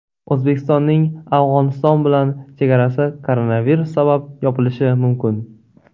O‘zbekistonning Afg‘oniston bilan chegarasi koronavirus sabab yopilishi mumkin .